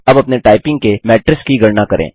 अब अपनी टाइपिंग के मैट्रिस की गणना करें